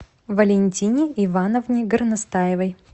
валентине ивановне горностаевой